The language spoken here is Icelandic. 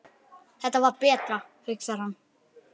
Þetta var betra, hugsar hann.